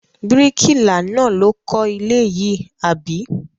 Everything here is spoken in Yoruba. Bíríkìlà náà ló kọ́ ilé yìí, àbí?